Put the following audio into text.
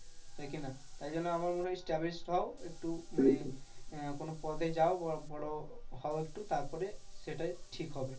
তাই কি না? তাই জন্য আমার মনে হয়, establish হও একটু মানে আহ কোনো পদে যাও বা বড় হও একটু তারপরে সেটাই ঠিক হবে।